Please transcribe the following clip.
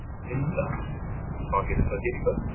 Linda: Hvað gerist svo hér í kvöld?